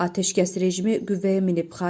Atəşkəs rejimi qüvvəyə minib.